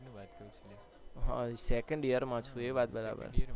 હા second year માં છુ એ વાત બરાબર